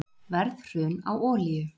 Verðhrun á olíu